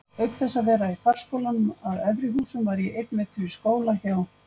Auk þess að vera í farskólanum að Efri-Húsum var ég einn vetur í skóla hjá